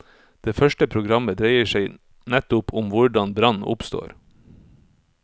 Det første programmet dreier seg nettopp om hvordan brann oppstår.